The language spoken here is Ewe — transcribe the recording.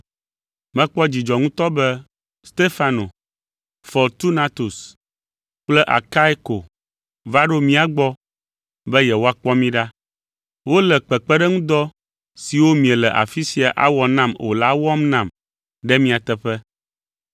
Mekpɔ dzidzɔ ŋutɔ be Stefano, Fortunatus kple Akaiko va ɖo mía gbɔ be yewoakpɔ mí ɖa. Wole kpekpeɖeŋudɔ siwo miele afi sia awɔ nam o la wɔm nam ɖe mia teƒe.